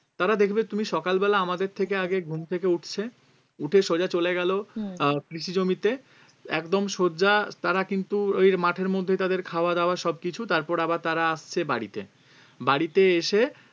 তারা দেখবে তুমি সকালবেলা আমাদের থেকে আগে ঘুম থেকে উঠছে উঠে সোজা চলে গেলো আহ কৃষি জমিতে একদম সোজা তারা কিন্তু ওই মাঠের মধ্যে তাদের খাওয়া দাওয়া সবকিছু তারপর আবার তারা আসছে বাড়িতে বাড়িতে এসে